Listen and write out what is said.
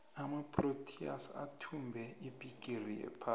amaproteas athumbe ibhigiri yephasi